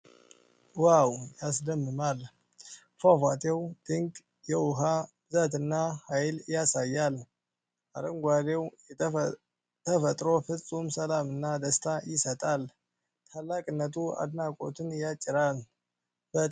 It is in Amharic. ዋው ያስደምማል ! ፏፏቴው ድንቅ የውሃ ብዛትና ኃይል ያሳያል። አረንጓዴው ተፈጥሮ ፍፁም ሰላምና ደስታ ይሰጣል ። ታላቅነቱ አድናቆትን ያጭራል። በጣም ያምራል!